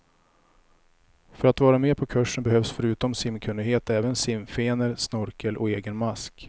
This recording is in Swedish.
För att vara med på kursen behövs förutom simkunnighet även simfenor, snorkel och egen mask.